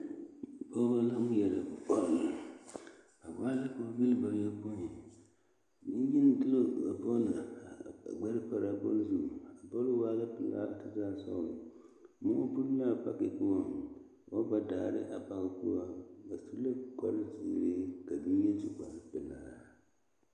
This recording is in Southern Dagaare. Pɔɡebɔ la ŋmeɛrɛ bɔl ba waa la pooboli bayoɔpoe nenyeni de la a bɔle pare a ɡbɛre zu a bɔle waa la pelaa kyɛ taa sɔɔlɔ moɔ buli la a pake poɔŋ ka ba ba daare a pake poɔ ba su la kparziiri ka ba mine meŋ su kparpelaa.